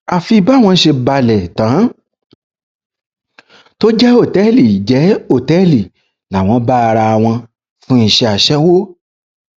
àfi báwọn ṣe balẹ tán tó jẹ òtẹẹlì jẹ òtẹẹlì làwọn bá ara àwọn fún iṣẹ aṣẹwó